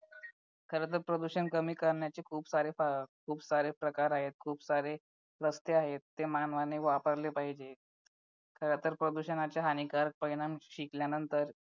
खरंतर प्रदूषण कमी करण्याचे खूप सारे प्रकार आहेत खूप सारे रस्ते आहेत ते मानवाने वापरले पाहिजे खरंतर प्रदूषणाचे हानिकारक परिणाम शिकल्यानंतर